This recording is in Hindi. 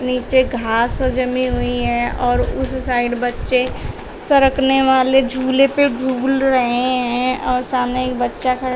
नीचे घास जमी हुई हैं और उस साइड बच्चे सरकने वाले झूले पर झूल रहे हैं और सामने एक बच्चा खड़ा--